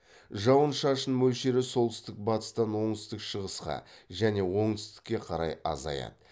жауын шашын мөлшері солтүстік батыстан оңтүстік шығысқа және оңтүстікке қарай азаяды